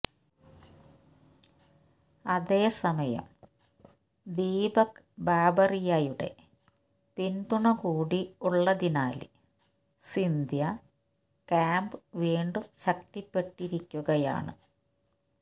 അതേസമയം ദീപക് ബാബറിയയുടെ പിന്തുണ കൂടി ഉള്ളതിനാല് സിന്ധ്യ ക്യാമ്പ് വീണ്ടും ശക്തിപ്പെട്ടിരിക്കുകയാണ്